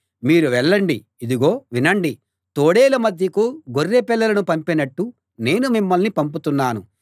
మీరు వెళ్ళండి ఇదిగో వినండి తోడేళ్ళ మధ్యకు గొర్రె పిల్లలను పంపినట్టు నేను మిమ్మల్ని పంపుతున్నాను